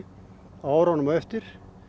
á árunum á eftir